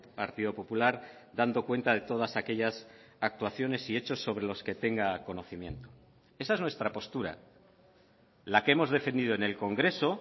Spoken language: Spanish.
partido popular dando cuenta de todas aquellas actuaciones y hechos sobre los que tenga conocimiento esa es nuestra postura la que hemos defendido en el congreso